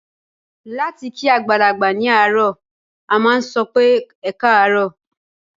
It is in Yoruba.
Láti kí àgbàlagbà ní àárọ̀, a máà sọ pé "ẹkáàárọ̀".